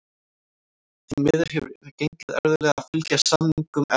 Því miður hefur gengið erfiðlega að fylgja samningum eftir.